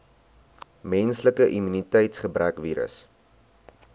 menslike immuniteitsgebrekvirus